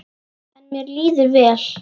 En mér líður vel.